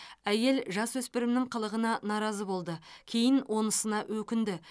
әйел жасөспірімнің қылығына наразы болды кейін онысына өкінді